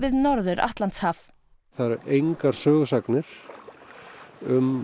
Norður Atlantshaf það eru engar sögusagnir um